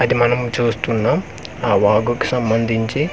అది మనం చూస్తున్నాం ఆ వాగుకు సంబందించి ఆ వాగు.